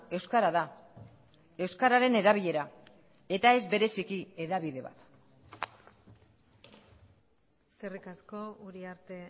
euskara da euskararen erabilera eta ez bereziki hedabide bat eskerrik asko uriarte